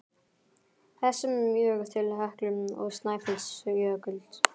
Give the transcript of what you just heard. þessum mjög til Heklu og Snæfellsjökuls.